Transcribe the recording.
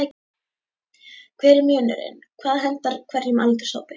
Hver er munurinn, hvað hentar hverjum aldurshópi?